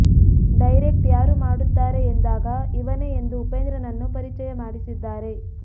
direct ಯಾರು ಮಾಡುತ್ತಾರೆ ಎಂದಾಗ ಇವನೆ ಎಂದು ಉಪೇಂದ್ರನನ್ನು ಪರಿಚಯ ಮಾಡಿಸಿದ್ದಾರೆ